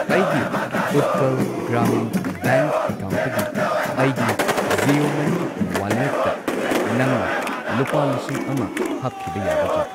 ꯑꯩꯒꯤ ꯎꯠꯀꯜ ꯒ꯭ꯔꯥꯃꯤꯟ ꯕꯦꯡꯛ ꯑꯦꯀꯥꯎꯟꯠꯇꯒꯤ ꯑꯩꯒꯤ ꯖꯤꯑꯣ ꯃꯅꯤ ꯋꯥꯂꯦꯠꯇ ꯅꯪꯅ ꯂꯨꯄꯥ ꯂꯤꯁꯤꯡ ꯑꯃ ꯍꯥꯞꯈꯤꯕ ꯌꯥꯒꯗ꯭ꯔꯥ?